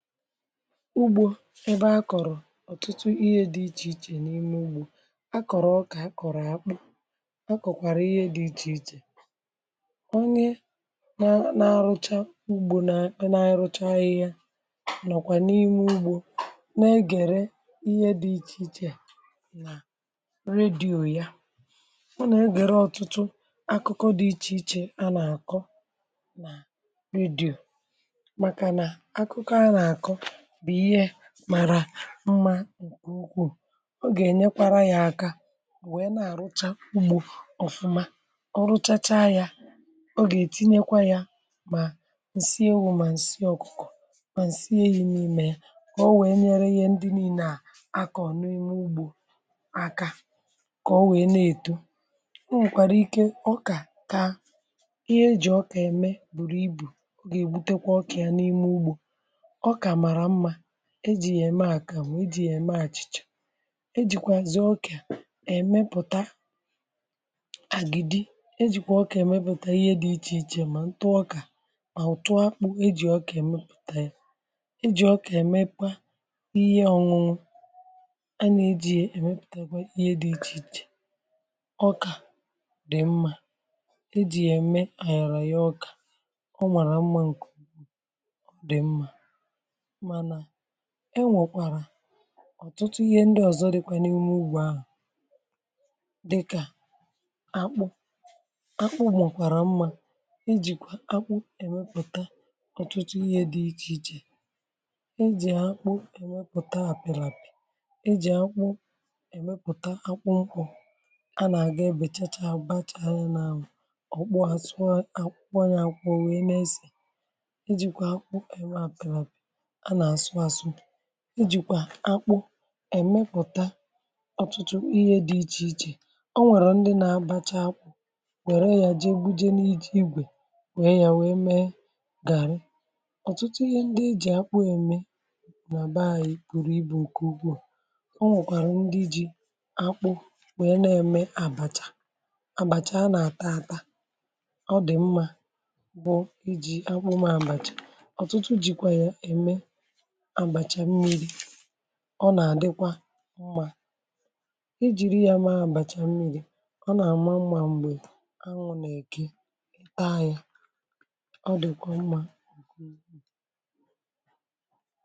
Ugbò ebe akọ̀rọ̀ ọ̀tụtụ ihe dị iche iche, n’ime ugbò akọ̀rọ̀, ọkà akọ̀rọ̀, àkpụ, um akọ̀kwàrà ihe dị iche iche. Onye na-arụcha ugbò, na-anrụcha ihe, a nọ̀kwà n’ime ugbò, na-egère ihe dị iche iche nà redíò ya. A nà-egère ọtụtụ akụkọ dị iche iche, a nà-àkọ nà redíò. Màrà mma nke ukwu. O gà-ènyekwa ya aka, wèe na-àrụcha ugbò ọ̀fụma. um O rụchacha ya, o gà-ètinyekwa ya mà ǹsị ewu̇, mà ǹsị ọ̀kùkò, mà ǹsị éyi̇ n’ime ya, kà o wèe nyere ihe ndị nìị nà-akọ̀ n’ime ugbò aka, um kà o wèe na-èto. M nwekwara ike, ọkà kà ihe eji̇ ọkà-ème bùrù ibu̇. O gà-èbutekwa ọkà ya n’ime ugbò, e jì ya ème àkà, nwe e jì ya ème àchìchà. E jìkwà zì ọkà à èmepụ̀ta àgìdì um e jìkwà ọkà èmepụ̀ta ihe dị iche iche. Mà ntụọkà, mà ụ̀tụ a bụ̀ e jì ọkà èmepụ̀ta ya. E jì ọkà ẹ̀mẹkwa ihe ọ̀nwụnwụ, a nà-ejikwa ya èmepụ̀takwa ihe dị iche iche. Ọkà dị̀ mma, e jì ya ème ànyọ̀rọ̀ ya. Ọkà, um ọ nwàrà mma. Ǹkù dị̀ mma, ènwekwara ọ̀tụtụ ihe ndị ọzọ dịkwà n’ime ugbò ahụ̀, dịkà àkpụ̇ àkpụ̇. Mọ̀kwàrà mma ijìkwa àkpụ̇ èmepụ̀ta ọ̀tụtụ ihe dị iche iche. E jì àkpụ̇ èmepụ̀ta àpịràpì, e jì àkpụ̇ èmepụ̀ta àkpụ̇ nkwụ̇. A nà-àga, e bèchàchà, àgbàchàà n’anwụ̇. Ọ̀kpụ àsọ ahụ̀ um akwụkwọ anyà akwụọ̇, wèe nà-esè. Ị̀jìkwa àkpụ̇ èmepụ̀ta ọtụtụ ihe dị iche iche, ọ nwèrè ndị nà-àbacha àkpụ̇, wère ya jee búje, n’iji igwe wèe ya, wèe mee gàrì. Ọ̀tụtụ ihe ndị e jì àkpụ̇ ème nà be ànyị̇, bụ̀rù ibu̇ nke ugwuù. Ọ nwụ̀kwàrà ndị ji àkpụ̇ wèe na-ème àbàchà um àbàchà a nà-àtà-àtà. Ọ dị̀ mma, bụ̀ ijì àkpụ̇ mee àbàchà. Ọ̀tụtụ jìkwà ya ème, ọ nà-àdịkwa mma, ijìrị ya mee àbàchà mmiri̇. Ọ nà-àma mma, m̀gbè ànwụ̇ nà-èke taa ya, ọ dị̀kwà mma.